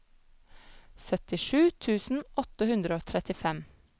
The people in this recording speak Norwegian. syttisju tusen åtte hundre og trettifem